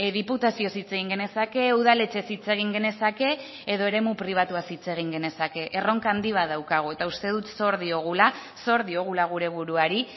diputazioz hitz egin genezake udaletxez hitz egin genezake edo eremu pribatuaz hitz egin genezake erronka handi bat daukagu eta uste dut zor diogula zor diogula gure buruari